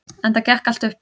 Enda gekk allt upp.